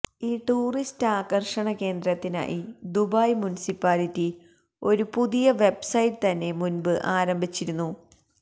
ഈ ടൂറിസ്റ്റ് ആകര്ഷണ കേന്ദ്രത്തിനായി ദുബായ് മുനിസിപ്പാലിറ്റി ഒരു പുതിയ വെബ്സൈറ്റ് തന്നെ മുന്പ് ആരംഭിച്ചിരുന്നു